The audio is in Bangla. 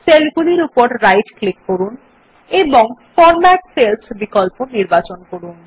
সেলগুলির উপর রাইট ক্লিক করুন এবং ফরম্যাট সেলস বিকল্প নির্বাচন করুন